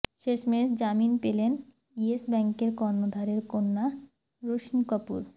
শেষমেশ জামিন পেলেন ইয়েস ব্যাঙ্কের কর্ণধারের কন্যা রোশনি কাপুর